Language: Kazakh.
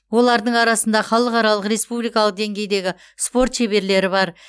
олардың арасында халықаралқ республикалық деңгейдегі спорт шеберлері бар